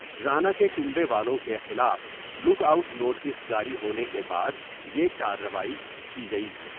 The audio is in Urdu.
رانا کے کنبے والوں کے خلاف لگ آؤٹ نوٹس جاری ہونے کے بعد یہ کارروائی کی گئی ۔